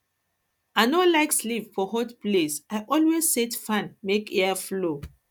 i no like no like sleep for hot place i always set fan make air flow